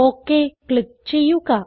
okay click ചെയ്യുക